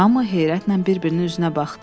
Hamı heyrətlə bir-birinin üzünə baxdı.